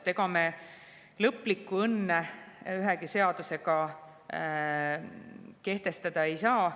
Ega me lõplikku õnne ühegi seadusega kehtestada ei saa.